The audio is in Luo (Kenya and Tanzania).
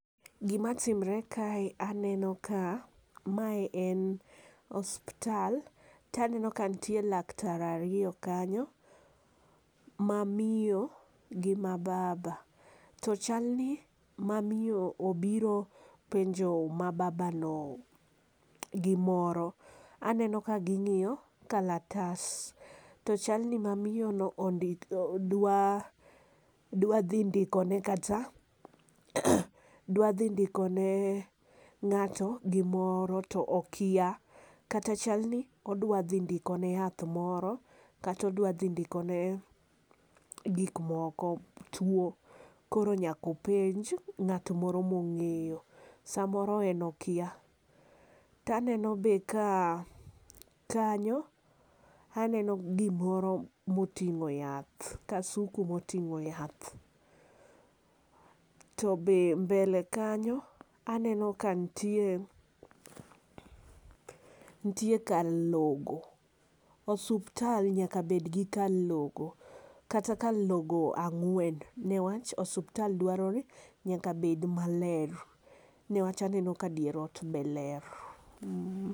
Gi ma timre ka e aneno ka ma en osiptal to aneno ka nitie laktar ariyo kanyo gi ma baba .To chal ni ma miyo ni obiro penjo ma babano gi moro aneno ka gi ng'iyo kalatas to chal ni ma miyo no ondiko dwa dhi ndiko ne kata dwa dhi ndiko ne ng'ato gi moro to okia kata chal ni odwa dhi ndiko ne yath moro kata odwa dhi ndiko ne gik moko two koro nyaka openj ng'at moro ma ongeyo saa moro en okia. To aneno be ka kanyo aneno gi moro ma otingo yath, kasuku mo ting'o yath to mbele kanyo aneno ka nitie nitie kar logo. Osiptal nyaka bed gi kar logo kata kar logo angwen ne wach ospital dwaro nyaka bed ma ler ne wach aneno ka dier ot be ler.